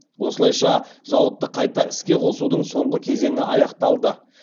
осылайша зауытты қайта іске қосудың соңғы кезеңі аяқталды